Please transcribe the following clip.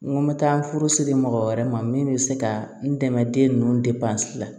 N ko n bɛ taa n furusiri mɔgɔ wɛrɛ ma min bɛ se ka n dɛmɛ den ninnu la